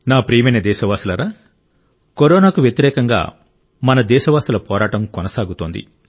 నా ప్రియమైన దేశవాసులారా కరోనాకు వ్యతిరేకంగా మన దేశవాసుల పోరాటం కొనసాగుతోంది